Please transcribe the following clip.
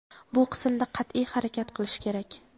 bu qismda qat’iy harakat qilish kerak.